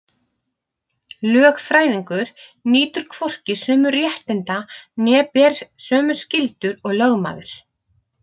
Lögfræðingur nýtur hvorki sömu réttinda né ber sömu skyldur og lögmaður.